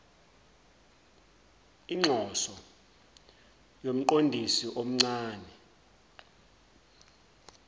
inxoso yomqondisi omcane